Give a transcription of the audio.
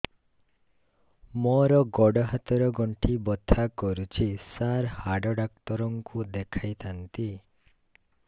ମୋର ଗୋଡ ହାତ ର ଗଣ୍ଠି ବଥା କରୁଛି ସାର ହାଡ଼ ଡାକ୍ତର ଙ୍କୁ ଦେଖାଇ ଥାନ୍ତି